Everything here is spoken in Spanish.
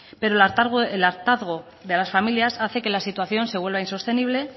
pero el hartazgo de las familias hace que la situación se vuelva insostenible